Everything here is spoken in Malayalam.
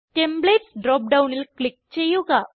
ടെംപ്ലേറ്റ്സ് ഡ്രോപ്പ് ഡൌണിൽ ക്ലിക്ക് ചെയ്യുക